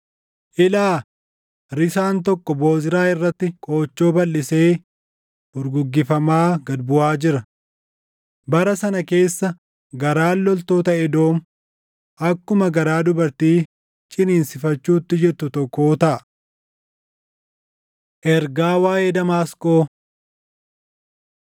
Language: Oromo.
Ilaa! Risaan tokkoo Bozraa irratti qoochoo balʼisee furguggifamaa gad buʼaa jira. Bara sana keessa garaan loltota Edoom akkuma garaa dubartii ciniinsifachuutti jirtu tokkoo taʼa. Ergaa Waaʼee Damaasqoo